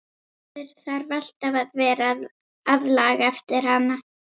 Maður þarf alltaf að vera að laga eftir hana.